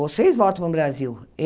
Vocês voltam para o Brasil.